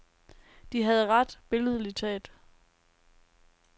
De havde ret, billedligt talt.